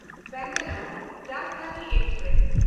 Bangalore Rajdhani express